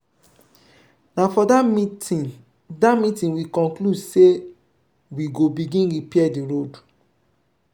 na for dat meeting dat meeting we conclude sey we go begin repair di road.